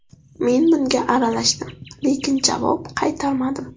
Men bunga aralashdim, lekin javob qaytarmadim.